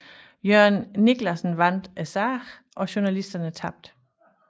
Jørgen Niclasen vandt sagen og journalisterne tabte